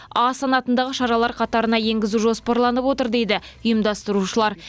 а санатындағы шаралар қатарына енгізу жоспарланып отыр дейді ұйымдастырушылар